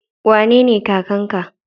Wanene kakan ka?